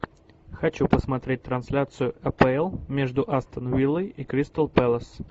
хочу посмотреть трансляцию апл между астон виллой и кристал пэлас